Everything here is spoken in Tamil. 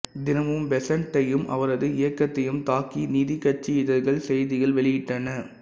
தினமும் பெசண்ட்டையும் அவரது இயக்கத்தையும் தாக்கி நீதிக்கட்சி இதழ்கள் செய்திகள் வெளியிட்டன